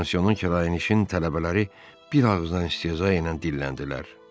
Pansionun kirayənişin tələbələri bir ağızdan istehza ilə dilləndilər.